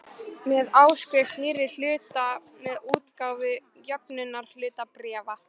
með áskrift nýrra hluta og með útgáfu jöfnunarhlutabréfa.